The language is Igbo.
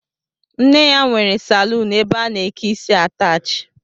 Nne ya nwere saluunu ebe a na-eke isi ataachi